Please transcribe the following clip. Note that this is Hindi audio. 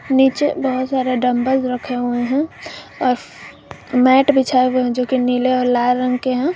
नीचे बहोत सारा डंबल्स रखे हुए हैं और मैट बिछाए हुए हैं जो की नीले और लाल रंग के हैं।